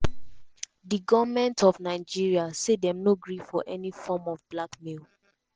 di goment of nigeria say dem no gree for any form um of blackmail.